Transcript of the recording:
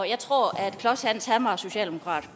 jeg tror klodshans var socialdemokrat